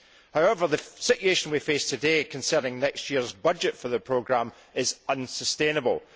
However, the situation we face today concerning next year's budget for the programme is unsustainable.